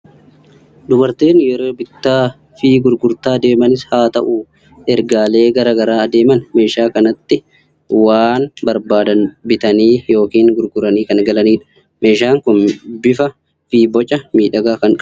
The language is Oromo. Dubartoonni yeroo bakka bittaa fi gurgurtaa deemanis haa ta'u, ergaalee garaa garaa adeeman meeshaa kanatti waan barbaadan bitanii yookiin gurguranii kan galanidha. Meeshaan kun bifaa fi boca miidhagaa kan qabudha!